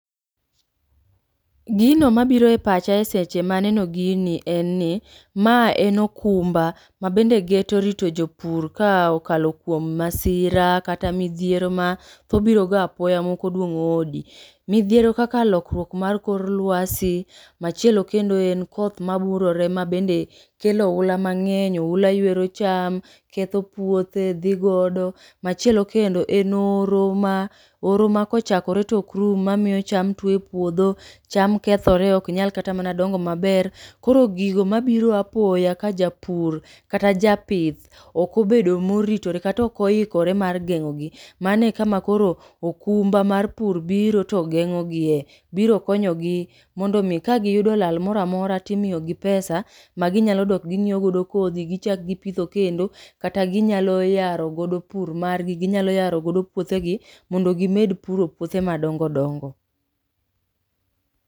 Egino mabiro epacha seche maneno gini enni, mae en okumba mabende geto rito jopur ka okalo kuom masira kata midhiero mathobiroga apoya maok oduong'o odi. Midhiero kaka lokruok mar kor lwasi machielo kendo en koth maburore mabende kelo oula mang'eny oula ywero cham keth puothe dhi godo. Machielo kendo en oro ma oro makochakore to ok rum mamiyo cham tuo epuodho cham kethore ok nyal kata mana dongo maber. Koro gigo mabiro apoya kajapur kata japith ok obedo moritore kata ok oikore mar geng'ogi. Mane ekama koro okumba mar pur biro to geng'ogie. Biro konyogi mondo mi kagi yudo lal moro amora timiyogi pesa maginyalo dok gi nyiewo godo kodhi gichak gipitho kendo kata ginyalo yaro godo pur margi ginyalo yaro godo puothegi mondo gimed puro puothe madongo dongo.